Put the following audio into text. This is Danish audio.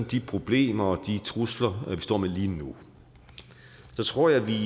de problemer og de trusler vi står med lige nu tror jeg vi